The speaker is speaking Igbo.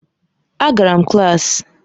Agara m klaasị.